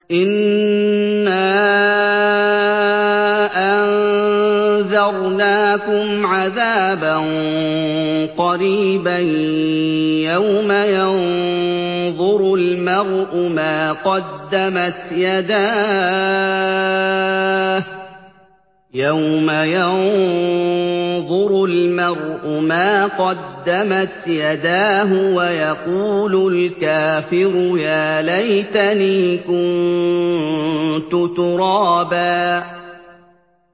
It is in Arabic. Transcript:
إِنَّا أَنذَرْنَاكُمْ عَذَابًا قَرِيبًا يَوْمَ يَنظُرُ الْمَرْءُ مَا قَدَّمَتْ يَدَاهُ وَيَقُولُ الْكَافِرُ يَا لَيْتَنِي كُنتُ تُرَابًا